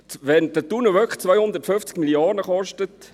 Wenn der Tunnel wirklich 250 Mio. Franken kostet….